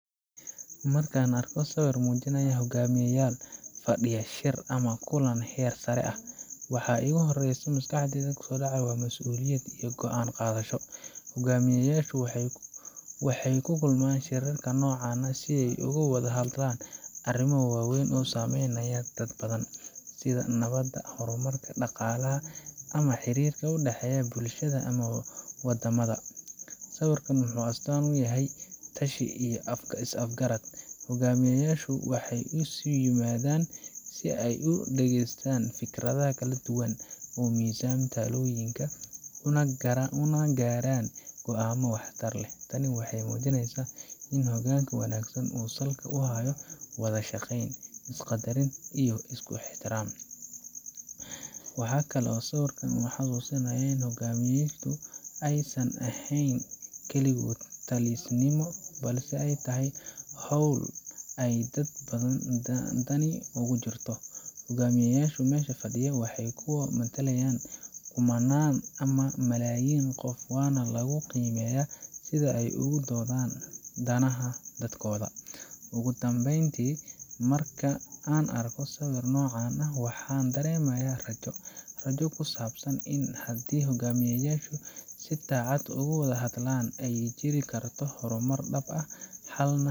Marka aan arko sawir muujinaya hoggaamiyeyaal fadhiya shir ama kulan heer sare ah, waxa iigu horreeya maskaxda waa mas’uuliyad iyo go’aan-qaadasho. Hoggaamiyeyaashu waxay ku kulmaan shirarka noocan ah si ay uga wada hadlaan arrimo waaweyn oo saameynaya dad badan, sida nabadda, horumarka, dhaqaalaha ama xiriirka u dhexeeya bulshada ama waddamada. Sawirkaasi wuxuu astaan u yahay wada-tashi iyo is-afgarad. Hoggaamiyeyaashu waxay isu yimaadaan si ay u dhageystaan fikradaha kala duwan, u miisaamaan talooyinka, una gaaraan go’aamo waxtar leh. Tani waxay muujinaysaa in hoggaanka wanaagsan uu salka ku hayo wada-shaqeyn, is-qaddarin iyo isku xirnaan. Waxa kale oo sawirkan uu xusuusinayaa in hoggaamintu aysan ahayn kaligood-talisnimo, balse ay tahay hawl ay dad badan dani ugu jirto. Hoggaamiyeyaasha meesha fadhiyaba waa kuwo matalaya kumannaan ama malaayiin qof, waana lagu qiimeeyaa sida ay ugu doodaan danaha dadkooda. Ugu dambeyn, marka aan arko sawir noocan ah, waxaan dareemaaya rajo. Rajo ku saabsan in haddii hoggaamiyeyaashu si daacad ah u wada hadlaan, ay jiri karto horumar dhab ah, xalna.